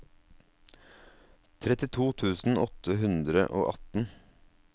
trettito tusen åtte hundre og atten